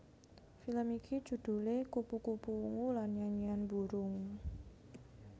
Film iki judhulé Kupu kupu Ungu lan Nyanyian Burung